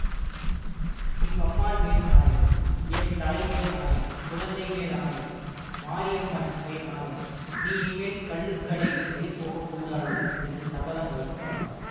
உங்கம்மாள் மேல் ஆணை என் தலை மேல் ஆணை குழந்தை மேல் ஆணை மாரியம்மன் மேல் ஆணை நீ இனிமேல் கள்ளுக்கடை வழிபோகக்கூடாது என்று சபதம் வைத்தாள்